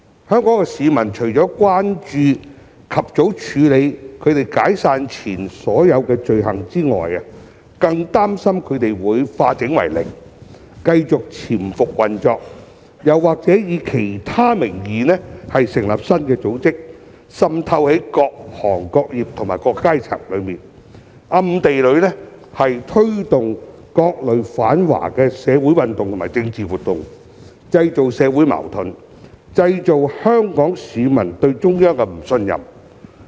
香港市民除了關注及早處理它們解散前的所有罪行外，更加擔心它們會化整為零，繼續潛伏運作，又或以其他名義成立新的組織，滲透在各行各業和各階層之中，暗地裏推動各類反華社會運動和政治活動，製造社會矛盾，導致香港市民對中央的不信任。